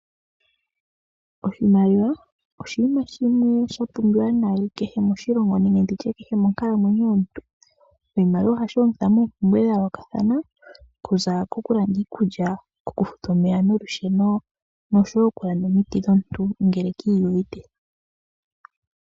Oshimaliwa oshinima shimwe sha pumbiwa kehe moshilongo, nenge monkalamwenyo yomuntu kehe. Oshimaliwa oshashi longithwa moompumbwe dha yoolokathana, okuza kokulanda iikulya, okufuta omeya nolusheno, noshowo okulanda omiti dhomuntu, ngele ki iyuvite.